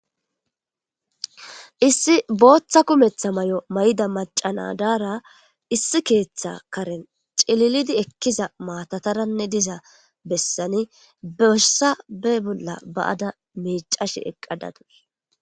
issi booththa kumetha may7o may7da macanadaara issi keeththa karen cililidi ekkiza maatataranne diza bessani beossa be bolla ba7ada miicashe eqqadadus